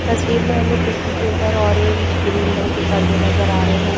तस्वीर में हमें खिड़की के ऊपर ऑरेंज ग्रीन रंग के पर्दे नजर आ रहे हैं।